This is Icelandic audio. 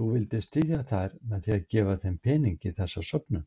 Þú vildir styðja þær með að gefa pening í þessa söfnun?